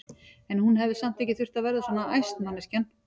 En hún hefði nú samt ekki þurft að verða svona æst, manneskjan!